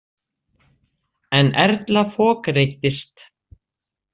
En Erla fokreiddist.